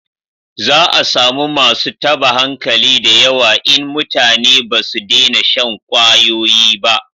Za a samu masu taba hankali da yawa in mutane ba su dena shan kwayoyi ba